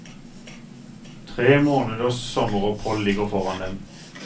Tre måneders sommeropphold ligger foran dem.